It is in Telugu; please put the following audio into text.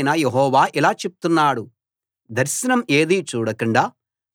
ప్రభువైన యెహోవా ఇలా చెప్తున్నాడు దర్శనం ఏదీ చూడకుండా